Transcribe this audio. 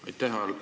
Aitäh!